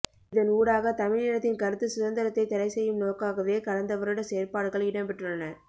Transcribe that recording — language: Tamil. இதன் ஊடாக தமிழ் இனத்தின் கருத்து சுதந்திரத்தை தடை செய்யும் நோக்காகவே கடந்த வருட செயற்பாடுகள் இடம் பெற்றுள்ளன